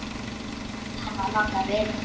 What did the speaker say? Við verðum að láta vita.